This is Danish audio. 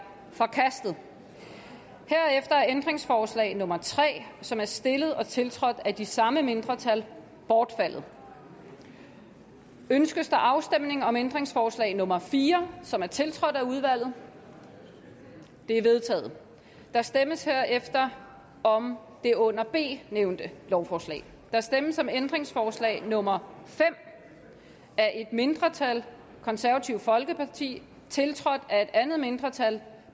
forkastet herefter er ændringsforslag nummer tre som er stillet og tiltrådt af de samme mindretal bortfaldet ønskes der afstemning om ændringsforslag nummer fire som er tiltrådt af udvalget det er vedtaget der stemmes herefter om det under b nævnte lovforslag der stemmes om ændringsforslag nummer fem af et mindretal tiltrådt af et andet mindretal